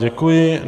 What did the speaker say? Děkuji.